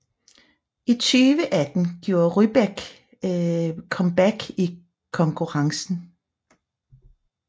I 2018 gjorde Rybak comeback i konkurrencen